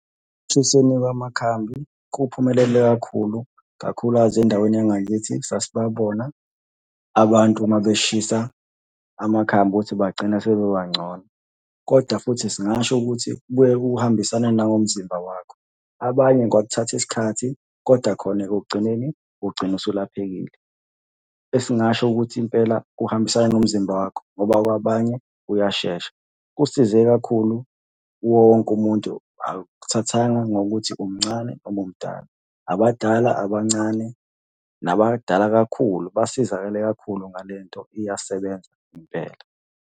Ekushisweni kwamakhambi, kuphumelele kakhulu, kakhulukazi endaweni yangakithi sasibabona abantu uma beshisa amakhambi ukuthi bagcina sebebangcono, koda futhi singasho ukuthi kubuye kuhambisane nangomzimba wakho. Abanye kwakuthatha isikhathi, koda khona ekugcineni ugcine usulaphekile. Esingasho ukuthi impela kuhambisana nomzimba wakho, ngoba kwabanye kuyashesha. Kusize kakhulu wonke umuntu, akuthathanga ngokuthi umncane noma umdala. Abadala, abancane, nabadala kakhulu basizakale kakhulu ngale nto, iyasebenza impela.